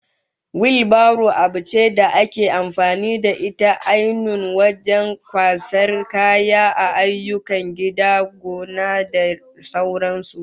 Wil baro abu ce da ake amfani da ita ainun wajen kwasan kaya a ayyukan gida, gona da sauran su